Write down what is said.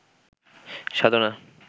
সাধনা